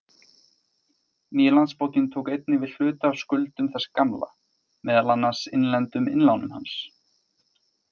Nýi Landsbankinn tók einnig við hluta af skuldum þess gamla, meðal annars innlendum innlánum hans.